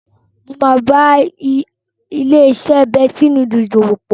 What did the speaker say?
Mo máa bá ilé-iṣẹ́ Bestie Noodles dòwò pọ̀.